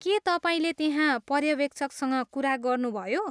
के तपाईँले त्यहाँ पर्यवेक्षकसँग कुरा गर्नुभयो?